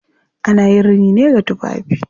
Ana yin rini ne ga tufafi.